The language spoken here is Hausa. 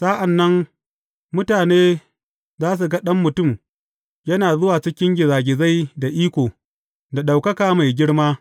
Sa’an nan, mutane za su ga Ɗan Mutum yana zuwa cikin gizagizai da iko, da ɗaukaka mai girma.